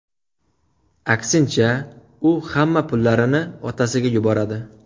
Aksincha, u hamma pullarini otasiga yuboradi.